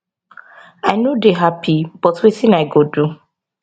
i no dey happy but wetin i go do